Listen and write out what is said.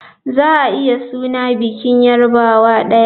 Za a iya suna bikin yarbawa daya.